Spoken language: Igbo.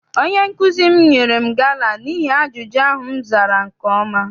Onye nkụzi m nyere m gala n'ihi ajụjụ ahụ m zara nke ọma.